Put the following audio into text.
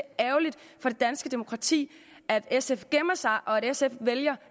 danske demokrati at sf gemmer sig og at sf vælger